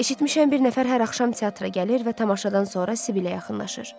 Eşitmişəm bir nəfər hər axşam teatra gəlir və tamaşadan sonra Sibilə yaxınlaşır.